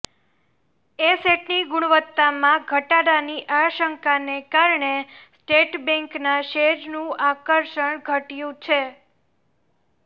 એસેટની ગુણવત્તામાં ઘટાડાની આશંકાને કારણે સ્ટેટ બેન્કના શેરનું આકર્ષણ ઘટ્યું છે